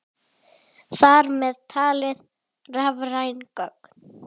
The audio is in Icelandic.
Þar með talið rafræn gögn.